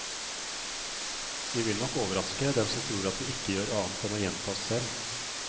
Vi vil nok overraske dem som tror at vi ikke gjør annet enn å gjenta oss selv.